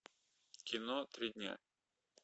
кино три дня